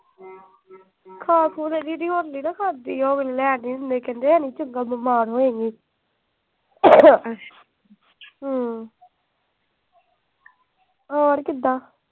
ਖਾ ਖੂ ਤਾਂ ਦੀਦੀ ਹੁਣ ਨੀ ਨਾ ਖਾਂਦੀ। ਲੈ ਕੇ ਨੀ ਦਿੰਦੇ ਕਹਿੰਦੇ ਹੈ ਨਈ ਚੰਗਾ। ਬੀਮਾਰ ਹੋਏਗੀ। ਹੂੰ। ਹੋਰ ਕਿਦਾਂ।